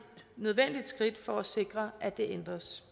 nødvendigt skridt for at sikre at det ændres